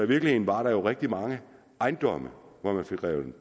virkeligheden var der jo rigtig mange ejendomme hvor